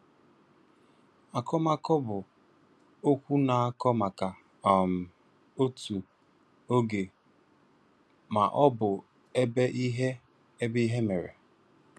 Akọmakọ bụ okwu na-akọ maka; um otu, oge maọbụ ebe ihe ebe ihe mere